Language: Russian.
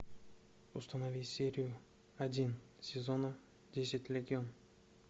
установи серию один сезона десять легион